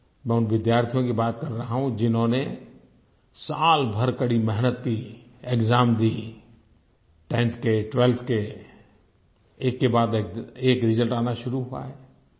मैं उन विद्यार्थियों की बात कर रहा हूँ जिन्होंने साल भर कड़ी मेहनत की एक्साम दी 10th के 12th के एक के बाद एक रिजल्ट आना शुरू हुआ है